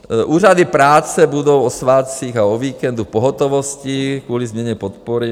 Úřady práce budou o svátcích a o víkendu v pohotovosti kvůli změně podpory.